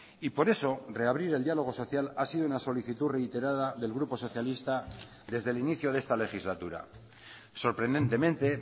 y por eso reabrir el diálogo social ha sido una solicitud reiterada del grupo socialista desde el inicio de esta legislatura sorprendentemente